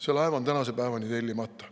See laev on tänase päevani tellimata.